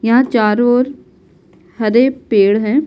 यहाँ चारों ओर हरे पेड़ हैं --